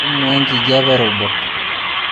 inuaa ikjape e robot